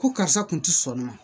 Ko karisa kun ti sɔn nɔ